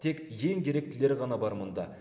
тек ең керектілері ғана бар мұнда